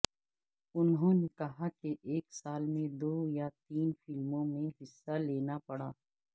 انہوں نے کہا کہ ایک سال میں دو یا تین فلموں میں حصہ لینا پڑا